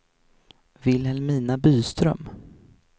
Vilhelmina Byström